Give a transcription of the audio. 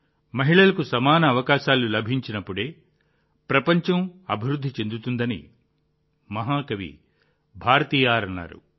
మహిళలకు సమాన అవకాశాలు లభించినప్పుడే ప్రపంచం అభివృద్ధి చెందుతుందని మహాకవి భారతియార్ అన్నారు